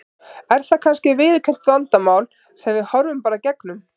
Er það kannski viðurkennt vandamál sem við horfum bara í gegnum?